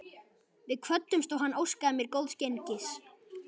Við kvöddumst og hann óskaði mér góðs gengis.